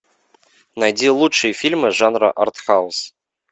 найди лучшие фильмы жанра артхаус